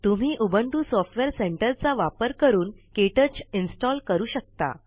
तुम्ही Ubuntu software centre वापरुन KTouch install करू शकता